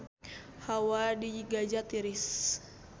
Hawa di Gaza tiris